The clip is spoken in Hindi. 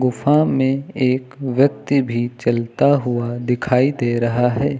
गूफा में एक व्यक्ति भी चलता हुआ दिखाई दे रहा है।